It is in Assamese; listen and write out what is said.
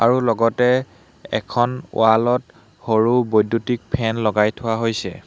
আৰু লগতে এখন ৱাল ত সৰু বৈদ্যুতিক ফেন লগাই থোৱা হৈছে।